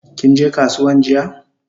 Kinje kasuwan jiya?